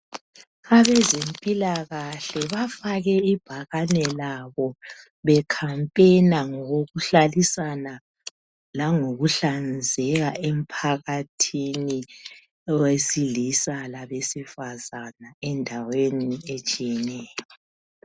abezempilakahle bafake ibhakane labo becampainer ngokokuhlalisana langokuhlanzeka emphakathini owesilisa labesifazana endaweni etshiyeneyo